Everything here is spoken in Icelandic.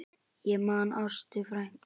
Ég man Ástu frænku.